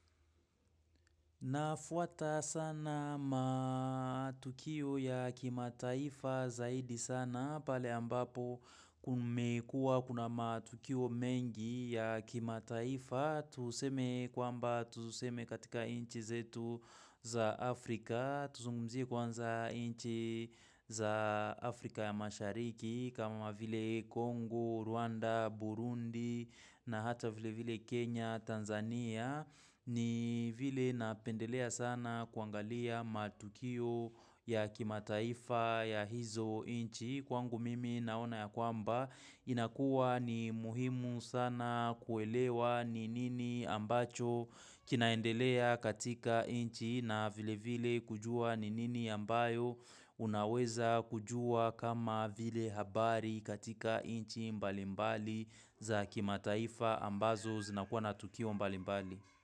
Nafuata sana matukio ya kimataifa zaidi sana pale ambapo kumekua kuna matukio mengi ya kimataifa tuseme kwamba tuseme katika nchi zetu za Afrika tuzungumzie kwanza nchi za Afrika ya mashariki kama vile Congo, Rwanda, Burundi na hata vile vile Kenya, Tanzania ni vile napendelea sana kuangalia matukio ya kimataifa ya hizo nchi Kwangu mimi naona ya kwamba inakua ni muhimu sana kuelewa ni nini ambacho kinaendelea katika nchi na vile vile kujua ni nini ambayo Unaweza kujua kama vile habari katika inchi mbalimbali za kimataifa ambazo zinakuwa na tukio mbali mbali.